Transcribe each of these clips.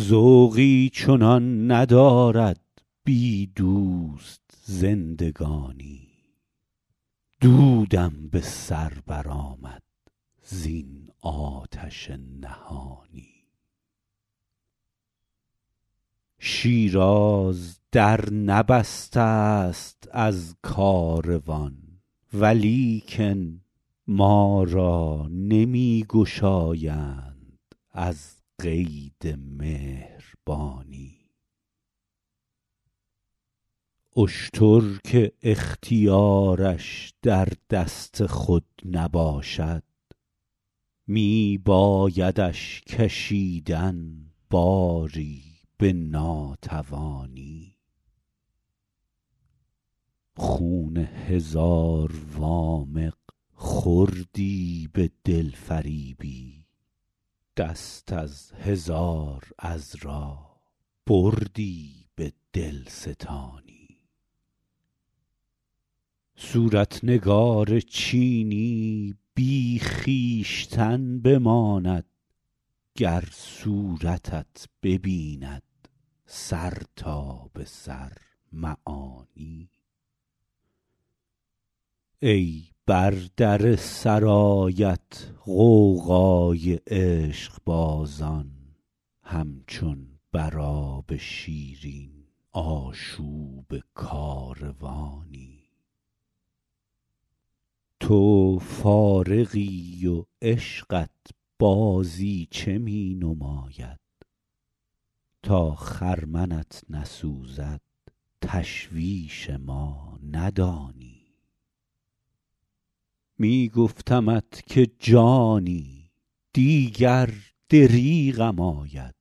ذوقی چنان ندارد بی دوست زندگانی دودم به سر برآمد زین آتش نهانی شیراز در نبسته ست از کاروان ولیکن ما را نمی گشایند از قید مهربانی اشتر که اختیارش در دست خود نباشد می بایدش کشیدن باری به ناتوانی خون هزار وامق خوردی به دلفریبی دست از هزار عذرا بردی به دلستانی صورت نگار چینی بی خویشتن بماند گر صورتت ببیند سر تا به سر معانی ای بر در سرایت غوغای عشقبازان همچون بر آب شیرین آشوب کاروانی تو فارغی و عشقت بازیچه می نماید تا خرمنت نسوزد تشویش ما ندانی می گفتمت که جانی دیگر دریغم آید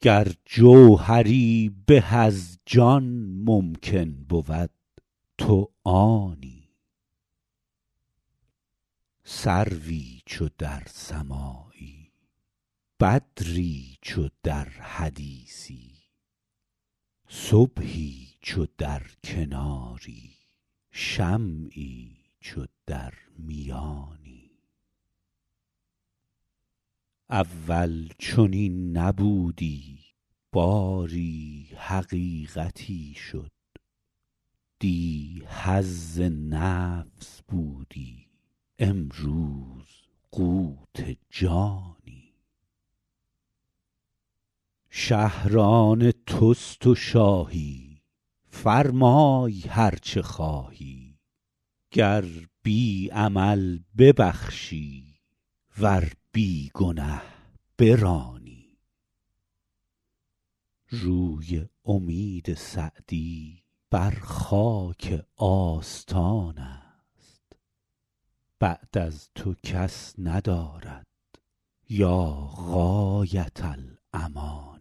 گر جوهری به از جان ممکن بود تو آنی سروی چو در سماعی بدری چو در حدیثی صبحی چو در کناری شمعی چو در میانی اول چنین نبودی باری حقیقتی شد دی حظ نفس بودی امروز قوت جانی شهر آن توست و شاهی فرمای هر چه خواهی گر بی عمل ببخشی ور بی گنه برانی روی امید سعدی بر خاک آستان است بعد از تو کس ندارد یا غایة الامانی